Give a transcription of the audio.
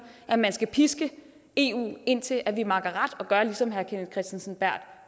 at man skal piske eu indtil vi makker ret og gør ligesom herre kenneth kristensen berth